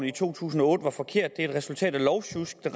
i to tusind og otte var forkert et resultat af lovsjusk og